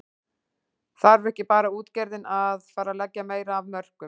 Þarf ekki bara útgerðin að, að fara að leggja meira af mörkum?